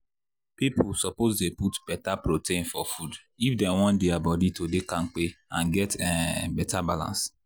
people suppose dey put better protein for food if dem want their body to dey kampe and get um better balance.